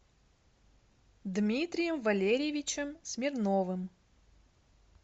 дмитрием валерьевичем смирновым